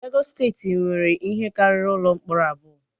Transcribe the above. Legọs steeti nwere ihe karịrị ụlọ mkpọrọ abụọ